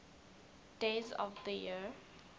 days of the year